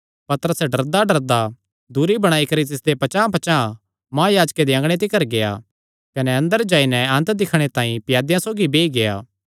पतरस डरदाडरदा दूरी बणाई करी तिसदे पचांह़पचांह़ महायाजके दे अँगणे तिकर गेआ कने अंदर जाई नैं अन्त दिक्खणे तांई प्यादेयां सौगी बेई गेआ